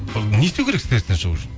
не істеу керек стресстен шығу үшін